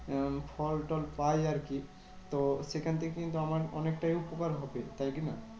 আহ ফল টল পাই আরকি তো সেখান থেকে কিন্তু আমার অনেকটাই উপকার হবে, তাই কি না?